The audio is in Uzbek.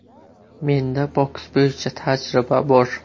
Menda boks bo‘yicha tajriba bor.